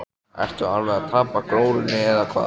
Ertu alveg að tapa glórunni eða hvað!